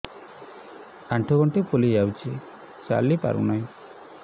ଆଂଠୁ ଗଂଠି ଫୁଲି ଯାଉଛି ଚାଲି ପାରୁ ନାହିଁ